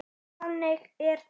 Þannig er þetta.